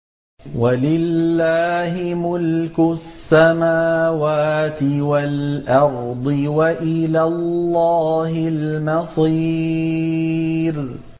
وَلِلَّهِ مُلْكُ السَّمَاوَاتِ وَالْأَرْضِ ۖ وَإِلَى اللَّهِ الْمَصِيرُ